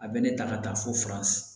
A bɛ ne ta ka taa fo fura